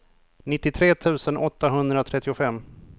nittiotre tusen åttahundratrettiofem